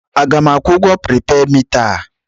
A ga m akwụ ụgwọ pripeed mita a?